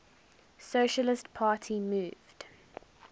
socialist party moved